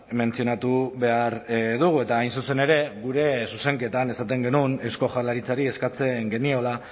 mentzionatu behar dugu eta hain zuzen ere gure zuzenketan esaten genuen eusko jaurlaritzari eskatzen geniola